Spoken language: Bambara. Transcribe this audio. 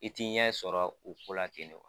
I ti ɲɛ sɔrɔ o kɛnɛ